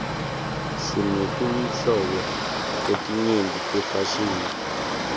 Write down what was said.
sinetinhlobo letinyenti tefashini